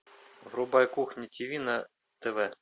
врубай кухня тиви на тв